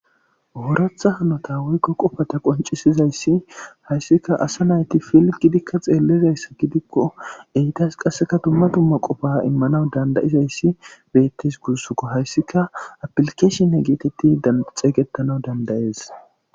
Oratha hanota woykko qofata qoncisizayssi hayssika asa nayti pilgidikka xeellizayssa gidikko eydas qasseka dumma tumma qofa immanawu dandayizayssi beettes gursukko hayssika apilkeeshinne geetetti xeeygetana dandayees.